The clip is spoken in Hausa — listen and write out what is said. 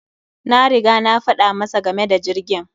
Na riga na faɗa masa game da jirgin.